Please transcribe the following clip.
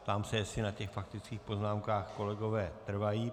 Ptám se, jestli na těch faktických poznámkách kolegové trvají.